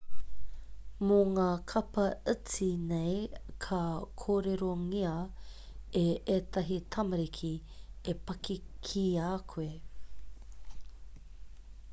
mō ngā kapa iti nei ka kōrerongia e ētahi tamariki te paki ki a koe